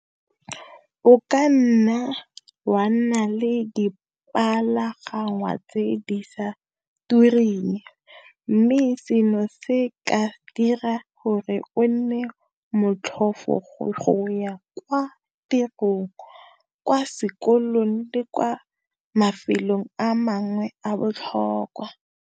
O ka nna, wa nna le tse di sa tureng mme seno se ka dira gore o nne motlhofu go ya kwa tirong, kwa sekolong le kwa mafelong a mangwe a botlhokwa.